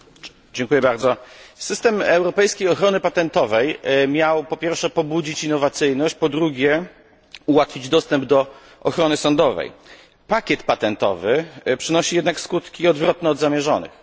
Pani Przewodnicząca! System europejskiej ochrony patentowej miał po pierwsze pobudzić innowacyjność, po drugie ułatwić dostęp do ochrony sądowej. Pakiet patentowy przynosi jednak skutki odwrotne od zamierzonych.